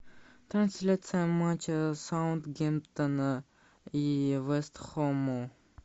трансляция матча саутгемптона и вест хэма